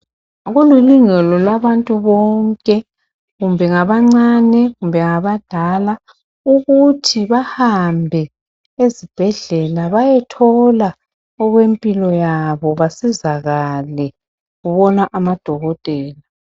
Kulilungelo labantu bonke kumbe ngabancane kumbe ngabadala ukuthi bahambe ezibhedlela bayethola okwempilo yabo basizakale babone amadokotela.